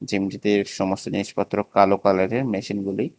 জিমটিতে সমস্ত জিনিসপত্র কালো কালারের মেশিনগুলোই।